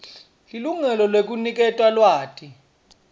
lilungelo lekuniketwa lwati